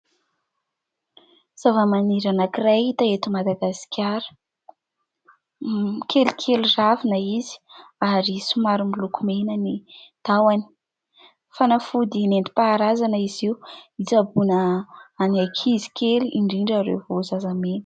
Zava-maniry anankiray hita eto Madagasikara kelikely ravina izy ary somary miloko mena ny tahony. Fanafody nentim-paharazana izy io hitsaboana ny ankizy kely indrindra ireo vao zazamena.